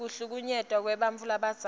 kuhlukunyetwa kwebantfu labadzala